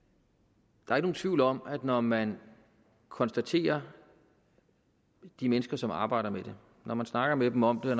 der er ikke nogen tvivl om at når man konsulterer de mennesker som arbejder med det når man snakker med dem om det